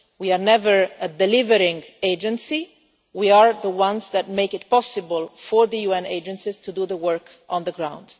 We are not an aid delivery agency but we are the ones that make it possible for the UN agencies to do the work on the ground.